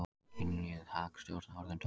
Kynjuð hagstjórn orðin tóm